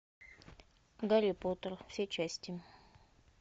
гарри поттер все части